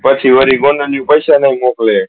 પછી વરી બોનાની પેસા નહી મોકલે